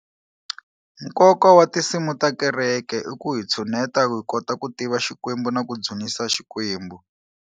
Nkoka wa tinsimu ta kereke i ku hi tshuneta ku hi kota ku tiva xikwembu na ku dzunisa xikwembu.